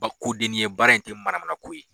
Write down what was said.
Ba ko denni ye, baara in te manamana ko ye.